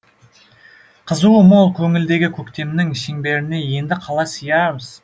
қызуы мол көңілдегі көктемнің шеңберіне енді қалай сиямыз